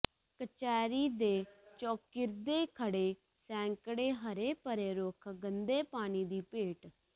ਕਚਹਿਰੀ ਦੇ ਚੌਗਿਰਦੇ ਖੜ੍ਹੇ ਸੈਂਕੜੇ ਹਰੇ ਭਰੇ ਰੁੱਖ ਗੰਦੇ ਪਾਣੀ ਦੀ ਭੇਟ